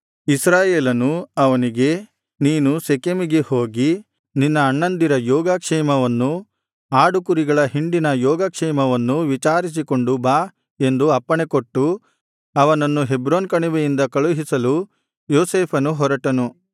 ಇಸ್ರಾಯೇಲ್ಯನು ಅವನಿಗೆ ನೀನು ಶೆಕೆಮಿಗೆ ಹೋಗಿ ನಿನ್ನ ಅಣ್ಣಂದಿರ ಯೋಗ ಕ್ಷೇಮವನ್ನೂ ಆಡುಕುರಿಗಳ ಹಿಂಡಿನ ಯೋಗ ಕ್ಷೇಮವನ್ನೂ ವಿಚಾರಿಸಿಕೊಂಡು ಬಾ ಎಂದು ಅಪ್ಪಣೆ ಕೊಟ್ಟು ಅವನನ್ನು ಹೆಬ್ರೋನ್ ಕಣಿವೆಯಿಂದ ಕಳುಹಿಸಲು ಯೋಸೇಫನು ಹೊರಟನು